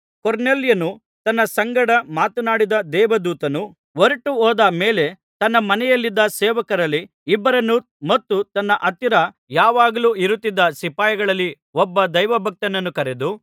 ಕೊರ್ನೇಲ್ಯನು ತನ್ನ ಸಂಗಡ ಮಾತನಾಡಿದ ದೇವದೂತನು ಹೊರಟುಹೋದ ಮೇಲೆ ತನ್ನ ಮನೆಯಲ್ಲಿದ್ದ ಸೇವಕರಲ್ಲಿ ಇಬ್ಬರನ್ನೂ ಮತ್ತು ತನ್ನ ಹತ್ತಿರ ಯಾವಾಗಲೂ ಇರುತ್ತಿದ್ದ ಸಿಪಾಯಿಗಳಲ್ಲಿ ಒಬ್ಬ ದೈವಭಕ್ತನನ್ನೂ ಕರೆದು